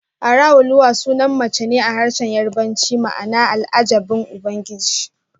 Araoluwa sunan mace ne a harshen Yarbanci ma'ana Al'ajabin Ubangiji